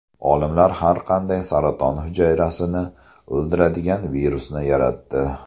Olimlar har qanday saraton hujayrasini o‘ldiradigan virusni yaratdi.